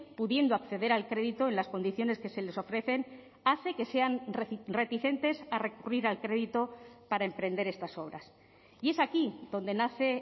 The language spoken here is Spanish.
pudiendo acceder al crédito en las condiciones que se les ofrecen hace que sean reticentes a recurrir al crédito para emprender estas obras y es aquí donde nace